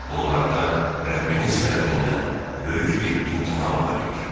Bunlarda Rəbbiniz tərəfindən böyük bir imtahan var idi.